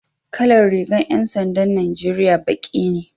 Kalar rigar 'yan sandan Najeriya baki ne